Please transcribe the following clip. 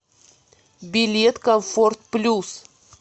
билет комфорт плюс